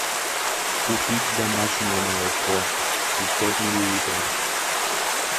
купить домашнее молоко пятьсот миллилитров